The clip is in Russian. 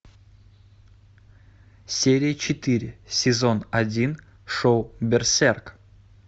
серия четыре сезон один шоу берсерк